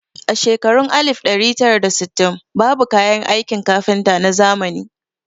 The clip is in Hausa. A shekarun alif ɗari tara da sittin babu kayan aikin kafinta na zamani